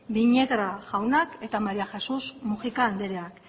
viñegra jaunak eta maría jesús múgica anderea